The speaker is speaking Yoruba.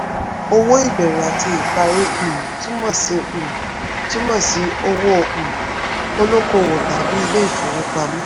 owó ìbẹ̀rẹ̀ àti ìparí um túmọ̀ sí um túmọ̀ sí owó um olókòwò tàbí ilé ìfowópamọ́.